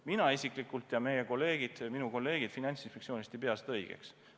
Mina isiklikult ja minu kolleegid Finantsinspektsioonist ei pea seda õigeks.